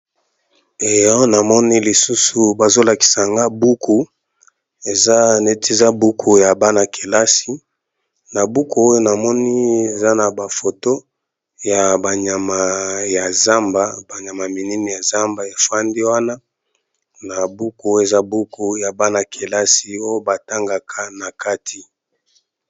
ee awa namoni lisusu bazolakisanga buku eza neti za buku ya bana-kelasi na buku oyo namoni eza na bafoto ya banyama ya zamba banyama minene ya zamba efwandi wana na buku eza buku ya bana-kelasi oyo batangaka na kati